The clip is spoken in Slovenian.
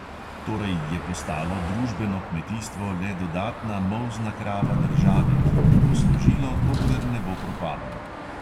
Torej je postalo družbeno kmetijstvo le dodatna molzna krava države, ki ji bo služilo, dokler ne bo propadlo.